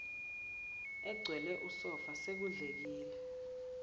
egcwele usofa sekudlekile